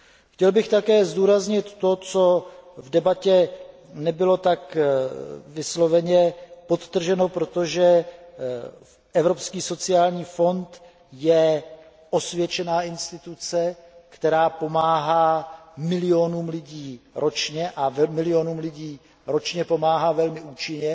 Chtěl bych také zdůraznit to, co v debatě nebylo tak vysloveně podtrženo, přestože Evropský sociální fond je osvědčená instituce, která pomáhá milionům lidí ročně a milionům lidí ročně pomáhá velmi účinně.